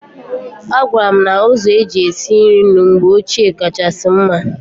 Agwara m na ụzọ eji esi nri mgbe ochie kachasị mma.